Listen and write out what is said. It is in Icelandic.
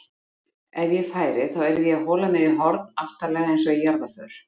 Ef ég færi þá yrði ég að hola mér í horn aftarlega einsog í jarðarför